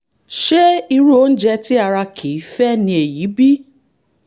ṣé irú oúnjẹ tí ara kì í fẹ́ ni èyí bí?